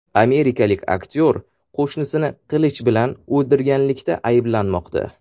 Amerikalik aktyor qo‘shnisini qilich bilan o‘ldirganlikda ayblanmoqda.